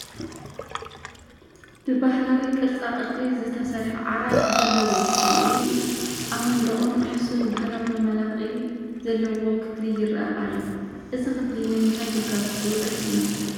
ብባህላዊ ቅርፃ ቅርፂ ዝተሰርሐ ዓራት ዘለዎ ከምኡውን ኣብ መንደቑን ናሕሱን ባህላዊ መመላክዒ ዘለዉዎ ክፍሊ ይርአ ኣሎ፡፡ እዚ ክፍሊ ንምንታይ ግልጋሎት ዝውዕል ይመስል?